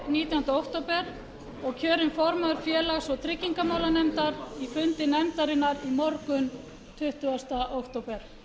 nítjánda október og kjörin formaður félags og tryggingamálanefndar á fundi nefndarinnar í morgun tuttugasta október